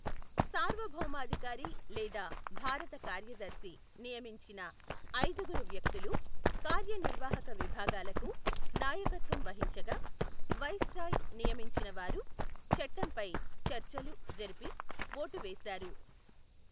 సార్వభౌమాధికారి లేదా భారత కార్యదర్శి నియమించిన ఐదుగురు వ్యక్తులు కార్యనిర్వాహక విభాగాలకు నాయకత్వం వహించగా, వైస్రాయ్ నియమించిన వారు చట్టంపై చర్చలు జరిపి, ఓటు వేశారు.